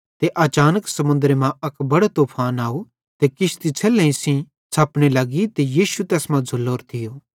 ते अचानक समुन्दरे मां अक बड़ो तूफान आव ते किश्ती छ़ेलहेईं सेइं छ़पने लग्गी ते यीशु तैस मां झ़ुल्लोरो थियो